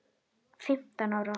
Fimmtán ára.